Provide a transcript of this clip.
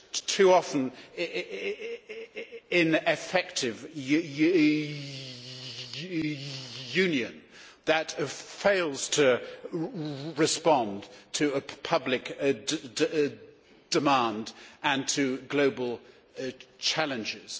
too often ineffective Union that fails to respond to public demand and to global challenges.